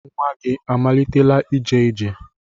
Nwa gị amalitela ije ije?